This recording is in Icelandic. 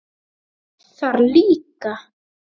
Þess þarf líka.